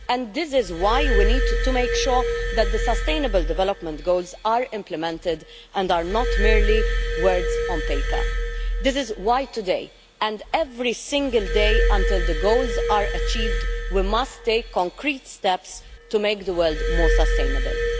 And this is why we need to make sure that the sustainable development goals are implemented and are not merely words on paper. This is why today and every single day until the goals are achieved, we must take concrete steps to make the world more sustainable.